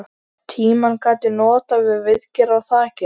Tímann gat ég notað til viðgerða á þakinu.